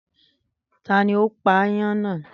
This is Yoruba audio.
Tani ó pa ayán náà?